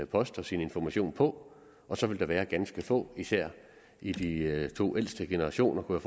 post og sin information på og så vil der være ganske få især i de to ældste generationer kunne